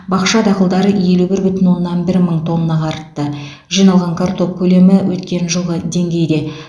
бақша дақылдары елу бір бүтін оннан бір мың тоннаға артты жиналған картоп көлемі өткен жылғы деңгейде